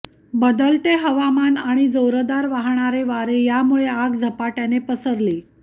बदलते हवामान आणि जोरदार वाहणारे वारे यामुळे आग झपाट्याने पसरली